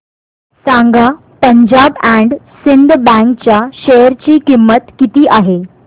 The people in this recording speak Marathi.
सांगा पंजाब अँड सिंध बँक च्या शेअर ची किंमत किती आहे